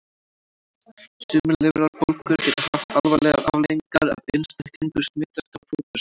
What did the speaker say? Sumar lifrarbólgur geta haft alvarlegar afleiðingar ef einstaklingur smitast á fósturskeiði.